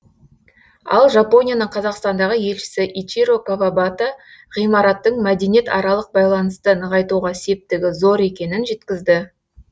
ал жапонияның қазақстандағы елшісі ичиро кавабата ғимараттың мәдениетаралық байланысты нығайтуға септігі зор екенін жеткізді